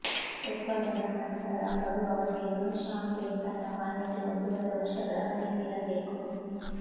ಉತ್ಪಾದನಾ ನಂತರ ಬಡು ಅವಧಿಯನ್ನು ಷಾಂಪೇನ್ ತನ್ನ ಮಾನ್ಯತೆ ಒಂದೂವರೆ ವರ್ಷಗಳ ಕಡಿಮೆ ಇರಬೇಕು